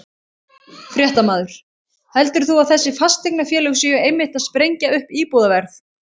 Fréttamaður: Heldur þú að þessi fasteignafélög séu einmitt að sprengja upp íbúðaverð?